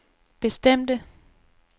bestemte